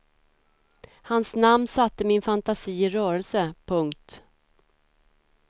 Hans namn satte min fantasi i rörelse. punkt